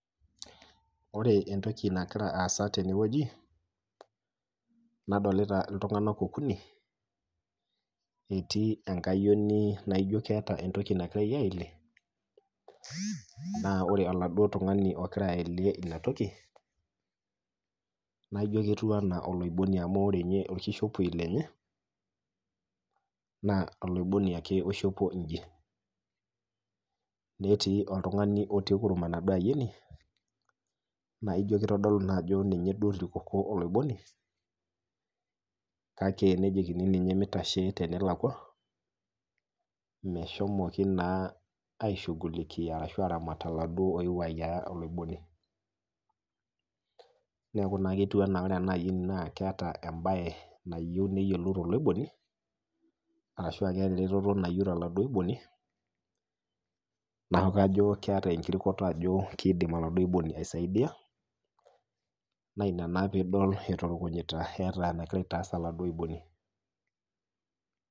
Ore entoki nagira aasa tenewueji nadolita iltung'anak okuni etii enkayioni naijo eata entoki nagirai aelie naa ore oladuo tung'ani ogira aelie inatoki, naijo ketiu anaa oloiboni amu ore ninye olkishepoi lenye naa oloiboni ake oishopo inyji. Netii oltung'ani otii kurum enaduo ayioni naijo keitodolu naajo ninye duo otirikoko oloiboni kake nejokini ninye meitashe tenelakua meshomoki naa aishugukia ashu aramat oladuo oepuo ayiaya oloiboni. Neaku naa ketiu anaa ore ena ayioni naaketa embaye nayeu neyiolou toloiboni, arashu keata eretoto nayou toladuo oiboni neaku kajo keata enkirukuto ajoo keidim oladuo oiboni aisaidia naina naa piidol eiturukunyita eata enagira aitas oladuo oiboni.